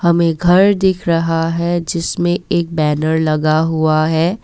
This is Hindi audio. हमे घर दिख रहा है जिसमे एक बैनर लगा हुआ है।